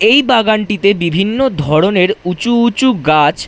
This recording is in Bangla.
এই বাগানটিতে বিভিন্ন ধরনের উঁচু উঁচু গাছ--